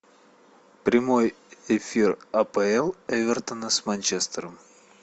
прямой эфир апл эвертона с манчестером